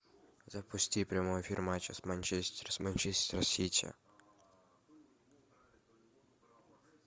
запусти прямой эфир матча манчестер с манчестер сити